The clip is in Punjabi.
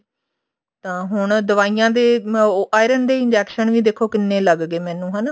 ਤਾਂ ਹੁਣ ਦਵਾਈਆਂ ਦੇ ਉਹ iron ਦੇ injection ਵੀ ਦੇਖੋ ਕਿੰਨੇ ਲੱਗ ਗਏ ਮੈਨੂੰ ਹਨਾ